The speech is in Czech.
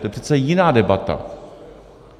To je přece jiná debata.